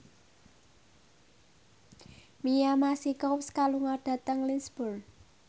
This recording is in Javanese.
Mia Masikowska lunga dhateng Lisburn